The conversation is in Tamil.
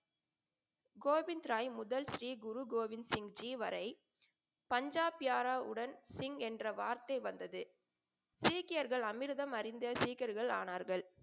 கோவிந்தராய் முதல் ஸ்ரீ குரு கோவிந்த சிங்ஜி வரை பஞ்சாப் யாராவுடன் சிங் என்ற வார்த்தை வந்தது. சீக்கியர்கள் அமிர்தம் அறிந்த சீக்கியர்கள் ஆனார்கள்.